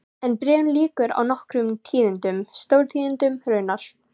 En bréfinu lýkur á nokkrum tíðindum, stórtíðindum raunar